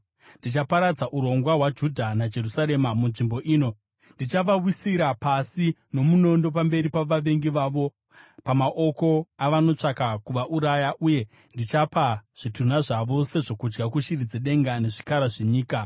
“ ‘Ndichaparadza urongwa hwaJudha neJerusarema munzvimbo ino. Ndichavawisira pasi nomunondo pamberi pavavengi vavo, pamaoko avanotsvaka kuvauraya, uye ndichapa zvitunha zvavo sezvokudya kushiri dzedenga nezvikara zvenyika.